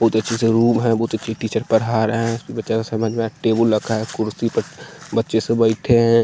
बहुत अच्छे से रूम है बहुत अच्छे टीचर पढ़ा रहे हैं बचा समझ में टेबुल रखा है कुर्सी पर बच्चे से बैठे हैं।